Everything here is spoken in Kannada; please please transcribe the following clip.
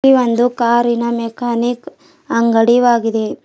ಈ ಒಂದು ಕಾರಿ ನ ಮೆಕಾನಿಕ್ ಅಂಗಡಿವಾಗಿದೆ.